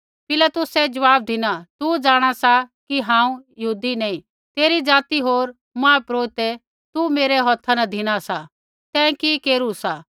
पिलातुसै ज़वाब धिना तू जाँणा सा कि हांऊँ यहूदी नैंई तेरी ज़ाति होर मुख्यपुरोहिते तू मेरै हौथा न धिना सा तैं कि केरू सा